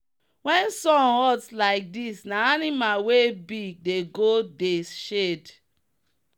when sun hot like this na animal wey big dey go dey shade.